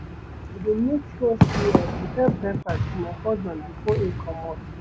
I dey make sure sey I prepare breakfast for my husband before im comot.